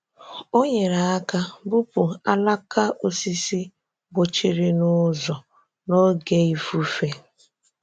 Ọ nyere aka bupu alaka osisi gbochiri n’ụzọ n’oge ifufe.